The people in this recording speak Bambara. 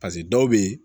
dɔw bɛ yen